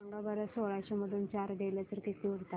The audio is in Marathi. सांगा बरं सोळाशे मधून चार गेले तर किती उरतात